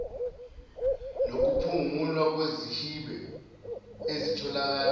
nokuphungulwa kwezihibe ezitholakele